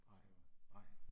Nej, nej